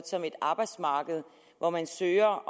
som et arbejdsmarked hvor man søger